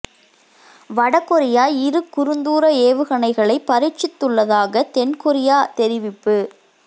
வட கொரியா இரு குறுந்தூர ஏவுகணைகளைப் பரீட்சித்துள்ளதாக தென் கொரியா தெரிவிப்பு